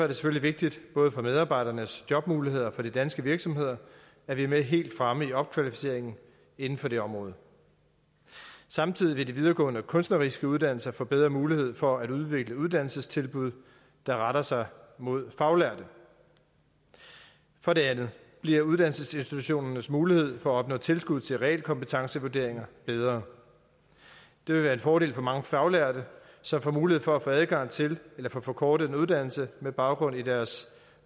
det selvfølgelig vigtigt både for medarbejdernes jobmuligheder og for de danske virksomheder at vi er med helt fremme i opkvalificeringen inden for det område samtidig vil de videregående kunstneriske uddannelser få bedre mulighed for at udvikle uddannelsestilbud der retter sig mod faglærte for det andet bliver uddannelsesinstitutionernes mulighed for at opnå tilskud til realkompetencevurderinger bedre det vil være en fordel for mange faglærte som får mulighed for at få adgang til en eller få forkortet en uddannelse med baggrund i deres